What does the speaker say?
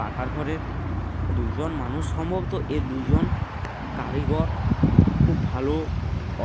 পাকার ঘরের দুইজন মানুষ | সম্ভব তো এ দুজন কারিগর | খুব ভালো